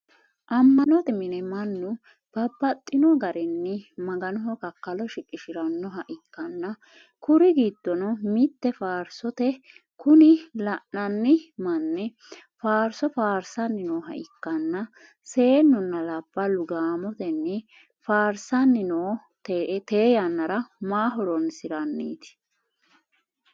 Ama'note mine mannu babbaxino garinni maganoho kakkalo shiqishirannoha ikkanna kuri giddono mitte faarsote kuni lainnanni manni faarso faarsanni nooha ikkanna seennunna labballu gaamotenni faarsanni no te yannara ma hooronsiranniti?